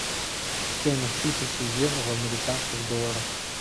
стоимость тысячи евро в американских долларах